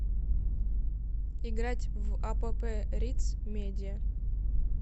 играть в апп риц медиа